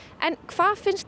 en hvað finnst